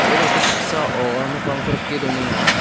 ia nokni paksao nokrangko rike donenga.